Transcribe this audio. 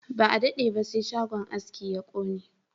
Ba a dade ba sai shagon aski ya kone